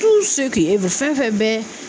fɛn fɛn bɛ